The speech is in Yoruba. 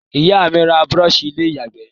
Ìyá mí n ra brush ilé ìyàgbé